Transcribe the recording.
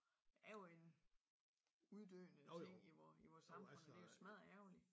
Er jo en uddøende ting i vor i vores samfund det er jo smadder ærgerligt